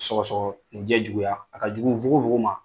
Sɔgɔsɔgɔnijɛ juguya, a ka jugu nfogofogo ma.